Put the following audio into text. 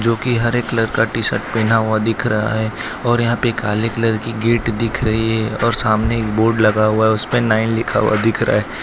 जोकि हरे कलर का टी शर्ट पहना हुआ दिख रहा है और यहां पे काले कलर की गेट दिख रही है और सामने एक बोर्ड लगा हुआ है उसपे नाइन लिखा हुआ दिख रहा--